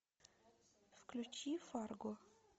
включи фарго